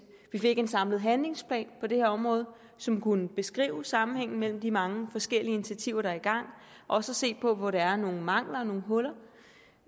vi fik en samlet handlingsplan på det her område som kunne beskrive sammenhængen mellem de mange forskellige initiativer der er i gang og se på hvor der er nogle mangler og nogle huller